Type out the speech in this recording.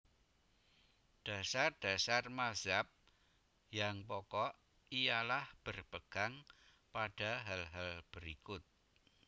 Dasar dasar mazhab yang pokok ialah berpegang pada hal hal berikut